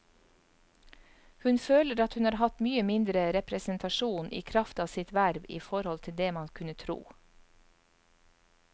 Hun føler at hun har hatt mye mindre representasjon i kraft av sitt verv i forhold til det man kunne tro.